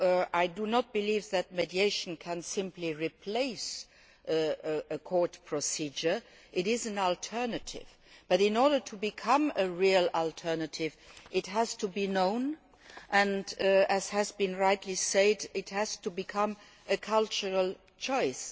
I do not believe that mediation can simply replace a court procedure it is an alternative, but in order to become a real alternative it has to be known and, as has been rightly said, it has to become a cultural choice.